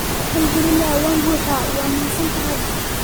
Alxamdulilah waan buxxaa waad mahadsantahay